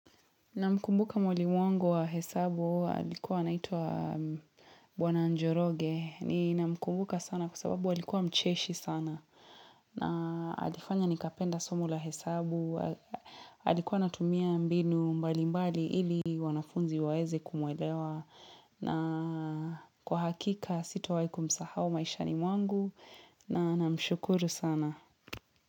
Namkumbuka mwalimu wangu wa hesabu, alikuwa anaitwa bwana njoroge. Ni namkumbuka sana kwa sababu alikuwa mcheshi sana. Na alifanya nikapenda somo la hesabu. Alikuwa anatumia mbinu mbali mbali ili wanafunzi waweze kumwelewa. Na kwa hakika sitawahi kumsahau maishani mwangu. Na namshukuru sana.